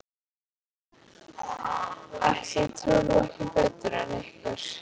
Ætli ég trúi honum ekki betur en ykkur.